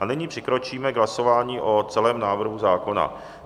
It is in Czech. A nyní přikročíme k hlasování o celém návrhu zákona.